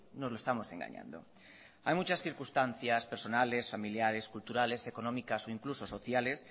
nos lo estamos engañando hay muchas circunstancias personales familiares culturales económicas o incluso sociales